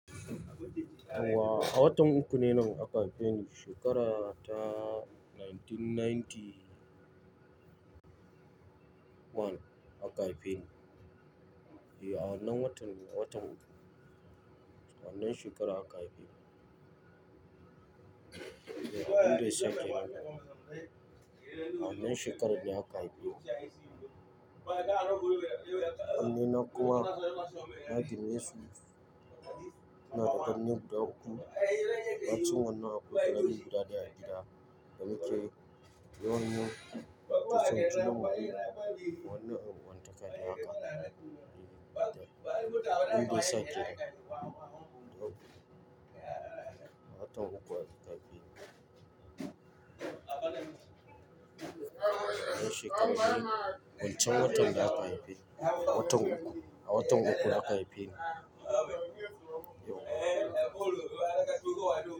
Wa, a watan uku ne nan aka haife ni, shekara ta 1991 aka haife ni. Yeah, a nan watan, watan uku. A nan shekara aka haife ni. Yeah. Abinda yasa knn. A wannan shekarar ne aka haife ni. Amine, kowa, nagir mesu. Ina da kanne guda uku. Bacin wannan akwai guda daya a gida bakwai cewan min, da sun tuna mun wanne abu wanda ka yi maka. Inda sati uku, a watan uku aka haife ni. A nan shekarar ne, wancan watan da aka haife ni. A watan uku, a watan uku aka haife ni.